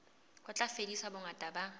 ho tla fedisa bongata ba